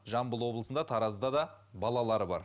жамбыл облысында таразда да балалары бар